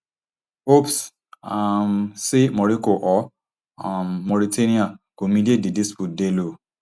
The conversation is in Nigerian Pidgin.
hopes um say morocco or um mauritania go mediate di dispute dey low